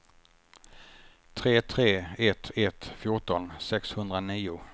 tre tre ett ett fjorton sexhundranio